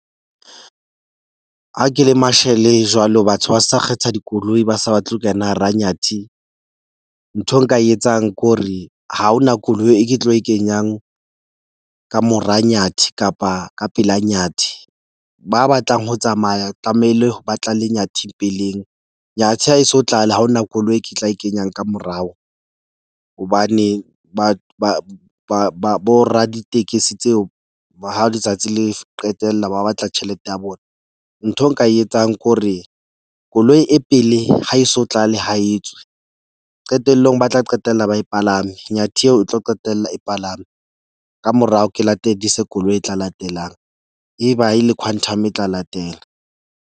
Ha ke le mashele jwalo, batho ba sa kgetha dikoloi, ba sa batle ho kena hara Nyathi. Ntho nka e etsang ke hore ha ho na koloi e ke tlo e kenyang ka mora Nyathi kapa ka pela Nyathi. Ba batlang ho tsamaya tlamehile ba tlale Nyathi peleng. Nyathi ha eso tlale, ha ho na koloi e ke tla e kenyang ka morao hobane ba ba ba ba bo raditekesi tseo, ba hao letsatsi le qetella ba batla tjhelete ya bona. Ntho eo nka e etsang ke hore koloi e pele ha e so tlale ha e tswe. Qetellong ba tla qetella ba e palame Nyathi eo e tlo qetella e palame ka morao, ke lateledise koloi e latelang. Eba e le Quantum, e tla latela.